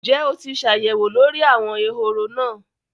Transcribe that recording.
Ǹjẹ́ o ti ṣ'àyẹ̀wò lórí àwọn ehoro náà?